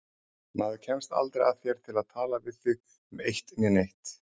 Maður kemst aldrei að þér til að tala við þig um eitt né neitt.